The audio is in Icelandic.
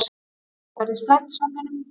Skemmtiferð í strætisvagninum